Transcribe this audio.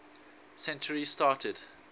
century started